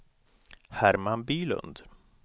Herman Bylund